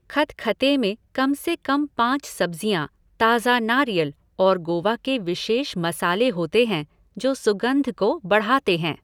खतखते में कम से कम पाँच सब्ज़ियाँ, ताज़ा नारियल और गोवा के विशेष मसाले होते हैं जो सुगंध को बढ़ाते हैं।